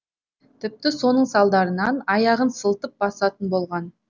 тіпті соның салдарынан аяғын сылтып басатын болған